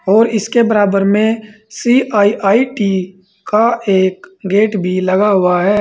और इसके बराबर में सी_आई_आई_टी का एक गेट भी लगा हुआ है।